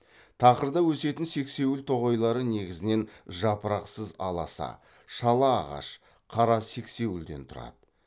тақырда өсетін сексеуіл тоғайлары негізінен жапырақсыз аласа шала ағаш қара сексеуілден тұрады